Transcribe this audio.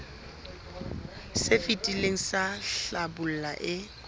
se fetileng sa hlabula e